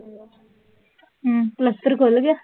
ਹੂੰ, ਪਲਸਤਰ ਖੁਲ ਗਿਆ?